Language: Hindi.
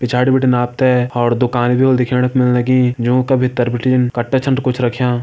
पिछाड़ी बिटिन आप ते और दुकान भी होली देखण क मिल की जूं का भितर बिटिन कट्टा छन कुछ रख्यां।